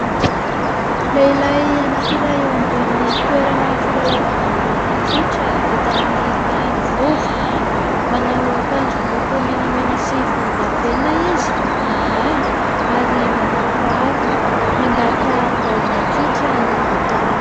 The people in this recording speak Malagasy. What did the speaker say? Lehilahy anankiray eo ambony toerana filalaovana baolina kitra vita amin'ny tany vovoka. Manao akanjo miloko menamena sy volondavenona izy ambony ambany ary manao kiraro. Mandaka baolina kitra no ataony.